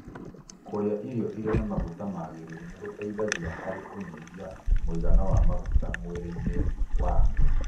Kũrĩa irio irĩ na maguta magĩrĩru nĩgũteithagia harĩ kũnyihia mũigana wa maguta mwĩrĩ-inĩ waku